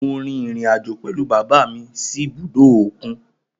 Mo rin irin-ajo pẹlu baba mi si ibudo okun.